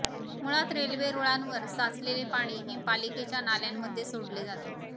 मुळात रेल्वे रुळांवर साचलेले पाणी हे पालिकेच्या नाल्यांमध्ये सोडले जाते